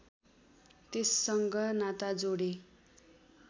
त्यससँग नाता जोडे